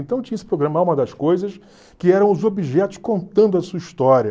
Então tinha esse programa, A Alma das Coisas que eram os objetos contando a sua história.